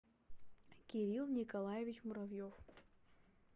кирилл николаевич муравьев